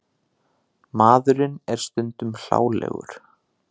Maðurinn er stundum hlálegur.